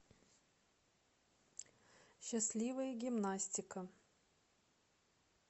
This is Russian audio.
счастливая гимнастика